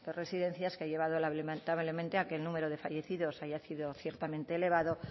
residencias que ha llevado lamentablemente a que el número de fallecidos haya sido ciertamente elevado